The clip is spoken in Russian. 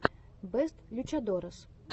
бэст лючадорес